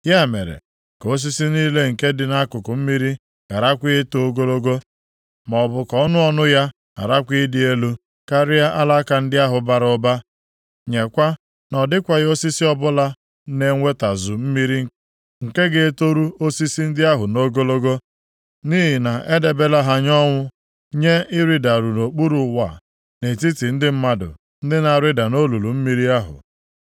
Ya mere, ka osisi niile nke dị nʼakụkụ mmiri gharakwa eto ogologo, maọbụ ka ọnụ ọnụ ya ghakwara ịdị elu karịa alaka ndị ahụ bara ụba. Nyekwa na ọ dịkwaghị osisi ọbụla na-enwetazu mmiri nke ga-etoru osisi ndị ahụ nʼogologo. Nʼihi na edebela ha nye ọnwụ, nye ịrịdaru nʼokpuru ụwa, nʼetiti ndị mmadụ ndị na-arịda nʼolulu omimi ahụ.